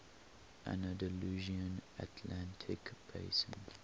andalusian atlantic basin